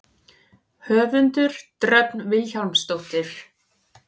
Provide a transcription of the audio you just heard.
Höfundur: Dröfn Vilhjálmsdóttir.